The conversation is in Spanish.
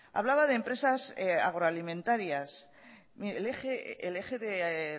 hablaba de empresas agroalimentarias mire el eje de